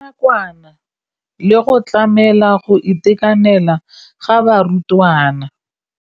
Ya nakwana le go tlamela go itekanela ga barutwana.